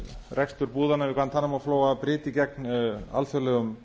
rekstur búðanna við guantanamo flóa bryti gegn alþjóðlegum